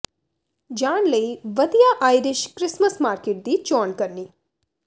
ਜਾਣ ਲਈ ਵਧੀਆ ਆਇਰਿਸ਼ ਕ੍ਰਿਸਮਸ ਮਾਰਕੀਟ ਦੀ ਚੋਣ ਕਰਨੀ